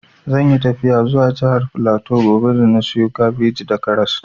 Zan yi tafiya zuwa jihar flatu gobe da na siyo kabeji da karas